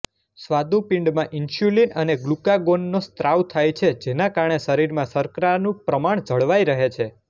સ્વાદુપિંડમાં insulin અને ગ્લુકાગોનનો સ્ત્રાવ થાય છે જેના કારણે શરીરમાં શર્કરાનું પ્રમાણ જળવાય રહે છે